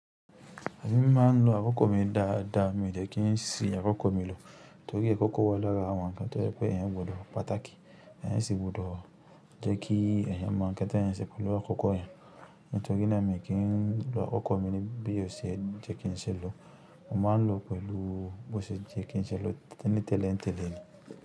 Èmi máa ń lo àkókò mi dáadáa mi dẹ kí n si àkókò mi lò, torí àkókò wà lara àwọn ǹkan tó jẹ pé ẹ̀yan gbọdọ̀ pàtàkì. Ẹ̀yan sì gbọdọ̀ jẹ́ kí ẹ̀yan mọ ǹkan ti ẹ̀yan ṣe pẹ́ lu àkókò yẹn. Nítorí náà mi o kí n lo àkókò mi ní bí ò ṣe jẹ́ kí n ṣẹlọ̀. Mo máa ń lò ó pẹ̀lú bó ṣe yẹ́ kí n ṣẹlọ̀ tẹ́ní tẹ́lẹ̀ ń tẹ́lẹ̀.